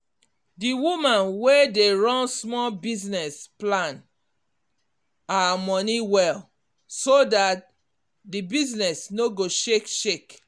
d woman wey dey run small business plan her money well so that d business no go shake shake